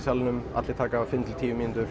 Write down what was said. allir taka fimm til tíu mínútur